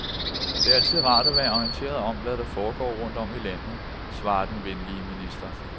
Det er altid rart at være orienteret om, hvad der foregår rundt om i landet, svarer den venlige minister.